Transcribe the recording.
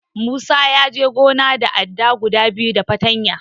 Musa ya je gona da adda guda biyu da fartanya.